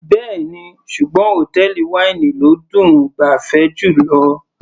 Bẹ́ẹ̀ni, ṣùgbọ́n hòtẹ́ẹ̀lì wáínì ló dùn -un gbafẹ́ jùlọ.